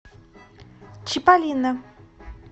чиполлино